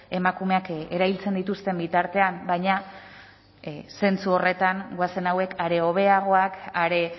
emakumeak erailtzen dituzten bitartean baina zentzu horretan goazen hauek are hobeagoak are